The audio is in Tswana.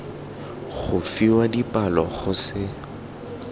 go fiwa dipalo go se